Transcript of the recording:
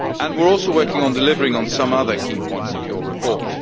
We are also working on delivering some other key points of your report.